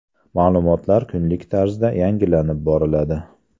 Ma’lumotlar kunlik tarzda yangilanib boriladi.